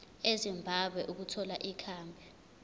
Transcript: ezimbabwe ukuthola ikhambi